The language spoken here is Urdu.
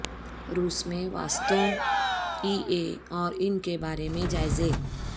روس میں واسطوں ای بے اور ان کے بارے میں جائزے